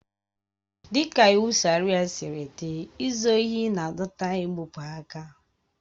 Dịka iwu Sharịa siri dị, izu ohi na-adọta igbụpụ aka.